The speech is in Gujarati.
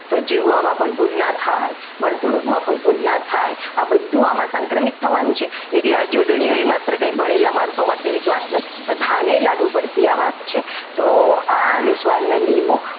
તો જીવવામાં પણ ભૂલ ના થાય વર્તણુકમાં પણ ભૂલ ના થાય આ બધું આમાં સંક્રમિત થવાનું છે એટલે આ જોડણીઓ આપણે માત્ર કંઈ ભણેલા માણસો માટેની જ વાત નથી બધા ને લાગુ પડતી આ વાત છે તો આ અનુસ્વારના નિયમો